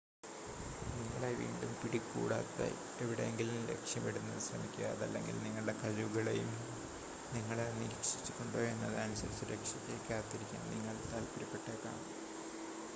നിങ്ങളെ വീണ്ടും പിടികൂടാത്ത എവിടെയെങ്കിലും ലക്ഷ്യമിടുന്നത് ശ്രമിക്കുക അതല്ലെങ്കിൽ നിങ്ങളുടെ കഴിവുകളെയും നിങ്ങളെ നിരീക്ഷിച്ചിട്ടുണ്ടോ എന്നത് അനുസരിച്ച് രക്ഷയ്‌ക്കായി കാത്തിരിക്കാൻ നിങ്ങൾ താൽപ്പര്യപ്പെട്ടേക്കാം